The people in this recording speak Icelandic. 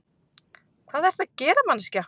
Hvað ertu að gera, manneskja?